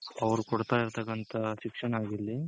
ಅವ್ರಗ್ ಕೊಡ್ತಾ ಇರ್ತಕಂತ ಶಿಕ್ಷಣ ಆಗಿರ್ಲಿ